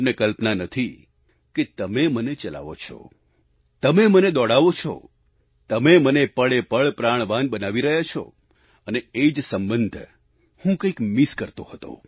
તમને કલ્પના નથી કે તમે મને ચલાવો છો તમે મને દોડાવો છો તમે મને પળે પળ પ્રાણવાન બનાવી રહ્યા છો અને એ જ સંબંધ હું કંઈક મિસ કરતો હતો